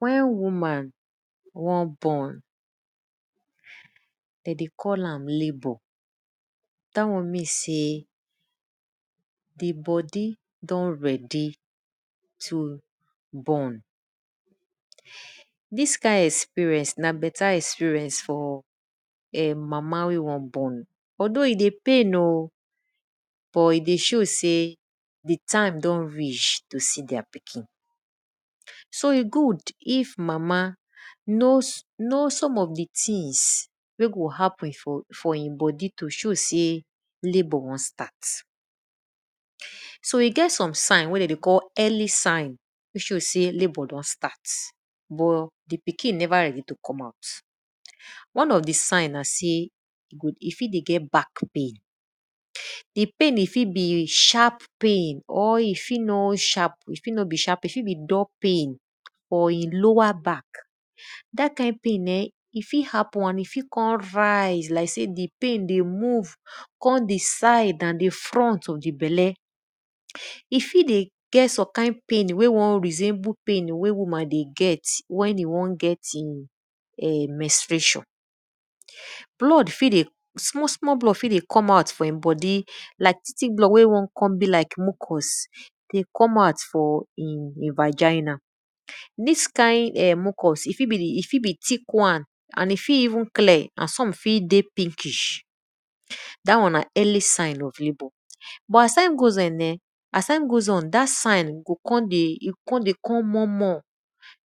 Wen woman won born, de dey call am labour. Dat one mean sey di bodi don ready to born. Di kind experience nabeta experience for mama wey won born although e dey pain o but e dey show sey di time don reach to see their pikin. So e good if mama know some of di things wey go happen for e bodi to show sey labour won start. So e get some sign wey de dey call early sigh to show sey lbour don start but di pkin neve ready to come out. One of di sign sey e fit ey get back pain, di pain e fit be sharp pain or e fit no be sharp pain e fit be dull pain for e lower back. Dat kind pain[um], e fit happen and e fit kon rise like sey di pain dey move come di side and di front of di belle. E fit ey get some kind pain wey won resemble pain wey woman dey get wen e won get e menstruation. Blood fit dey smalsmall blood fi dey come out for e bodi like tick tick bood wey won be like mucus dey come out from e viginal. Dis mucus fit be di e fit be thick wan and e fit even clear and some fit dey pinkish da won na early sign of labour. As time goes on dat sigh go kon dey go kon dey come more mor,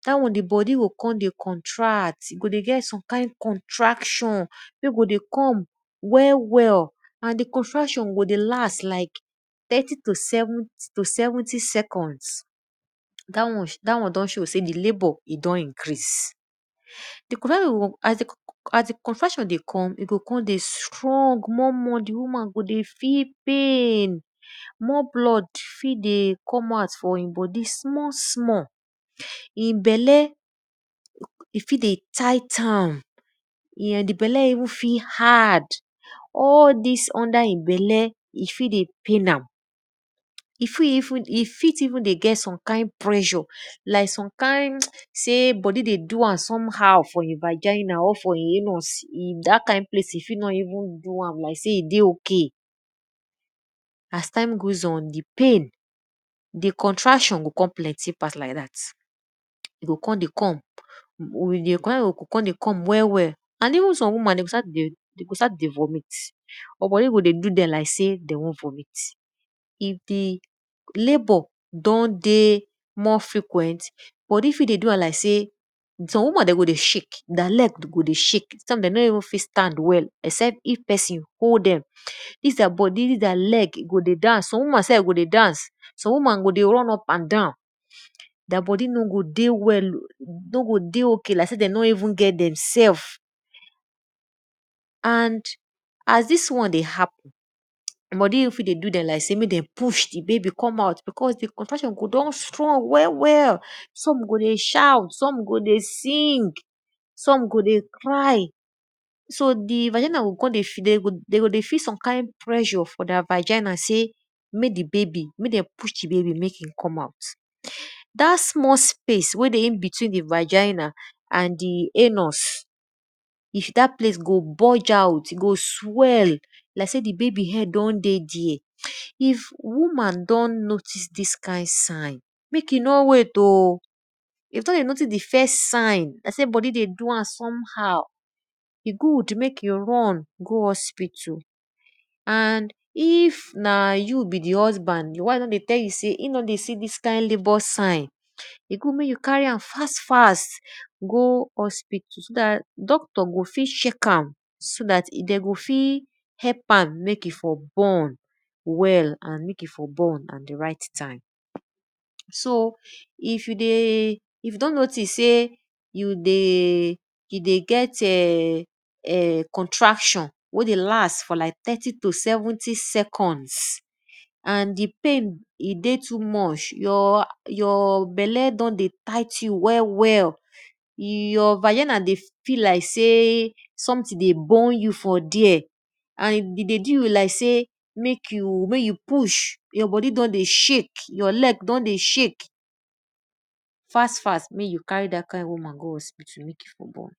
dat won di bodi go kon dey contract, e go ey get some kind contraction wey go dey come wel well and di contraction go dey last like thirty to seventy seconds dat one don show sey di labour don incrase. As di contraction dey come, e go kon dey strong more more di woman go dey feel pain, more blood fi dey come out for e bodi small small e bella dey fit dey tie towl, di bela fit even hard all dis under e bela fit dey pain am, e fit even d ey get some kind pressure like some kind sey bodi dey do am somehow for e viginal or for e anus dat kind place e fi nor even do am like sey e dey ok. As time goes on, di pain, di contraction go kon plenty pass like dat. Di contraction go kon dey come well well. And even some women, d o start dey vomint, but bodi go ey do dem like sey de dwon vomit. If di labour don dey more frequent, some woman go dey shake, their leg go dey shake, some den no even fit stand well except if pesin hold dem. Dis their leg go dey dance, some woman self go dey dance, some woman go dey run up and down, their bodi no go dey ok like sey dey no even get dem sef. As dis one dey happen, bodi fit dey do dem like sem mek demo us di baby come out some go dey cry, some out because di contraction don do dem well well some go dey shout, some go kon dey sing, some go dey cry, so di viginal g kon dey de go dey feel sme kind pressure sey mek dem push di babay mek e come out. Dat small space wey dey inbetwen di viginal and di anus, dat place go bulge out go swell like sey di head don dey there. If woman don notice dis sign, mek e no wait o if sey you notice di first sign like sey bodi dey do am somehow, e good mek you run go hospital and if na you be di husband, your wife don dey tell you sey e don dey see di kind labour sign, good mek you carry am fast fast go hospital so dat doctor go fit check am so dat de go fit help am mek e fot born well and mek e ft born at di right time. So if you dey if you don notice sey you dey get[um]contraction wey dey last for like thirty to seventy seconds and di pain e dey too much, your bela don dey tight you well well, your vigial dey feel like sey something dey burn you for there, and e dey do you like sey your bodi don dey shake, your leg don dey shake, fast fast mek you carry dat kind woman go hospital mek e for born.